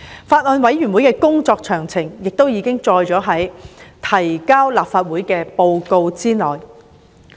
法案委員會的工作詳情亦已載於提交立法會的報告內。